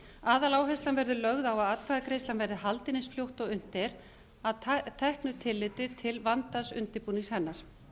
aðaláherslan verður lögð á að atkvæðagreiðslan verði haldin eins fljótt og unnt er að teknu tilliti til vandaðs undirbúnings hennar